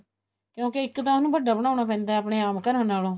ਕਿਉਂਕਿ ਇੱਕ ਤਾਂ ਉਹਨੂੰ ਵੱਡਾ ਬਣਾਉਣਾ ਪੈਂਦਾ ਏ ਆਪਣੇ ਆਮ ਘਰਾਂ ਨਾਲੋਂ